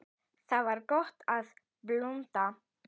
Þar var gott að blunda.